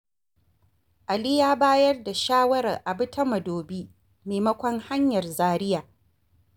Ali ya bayar da shawarar a bi ta Madobi maimakon hanyar Zaria.